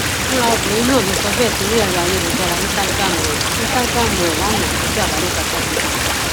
fúnra obìnrin náà ló sọ bẹẹ sórí ẹrọ ayélujára instagram rẹ instagram rẹ lánàá ọjọ àbámẹta sátidé